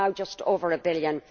It is now just over a billion.